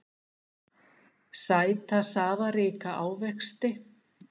Sæta safaríka ávexti.